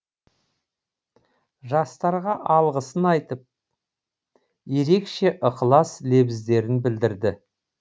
жастарға алғысын айтып ерекше ықылас лебіздерін білдірді